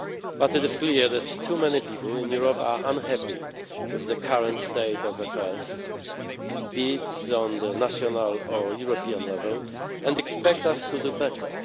But it is clear that too many people in Europe are unhappy with the current state of affairs, be it on the national or European level, and expect us to do better.